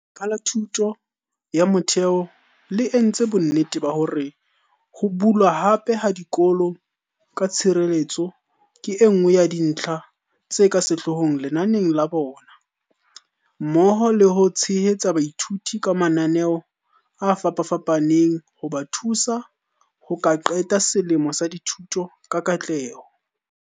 Lefapha la Thuto ya Motheo le entse bonnete ba hore ho bulwa hape ha dikolo ka tshireletseho ke enngwe ya dintlha tse ka sehloohong lenaneng la bona, mmoho le ho tshehetsa baithuti ka mananeo a fapafapaneng hoba thusa ho ka qeta selemo sa dithuto ka katleho.